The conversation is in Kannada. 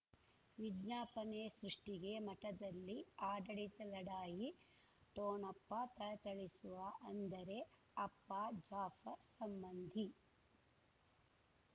ವಿಜ್ಞಾಪನೆ ಸೃಷ್ಟಿಗೆ ಮಠದಲ್ಲಿ ಆಡಳಿತ ಲಢಾಯಿ ಠೊಣಪ ಥಳಥಳಿಸುವ ಅಂದರೆ ಅಪ್ಪ ಜಾಫರ್ ಸಂಬಂಧಿ